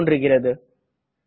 என்ற செய்தி தோன்றுகிறது